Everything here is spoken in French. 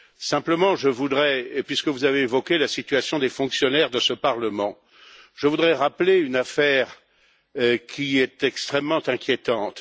Simplement, puisque vous avez évoqué la situation des fonctionnaires de ce Parlement, je voudrais rappeler une affaire qui est extrêmement inquiétante.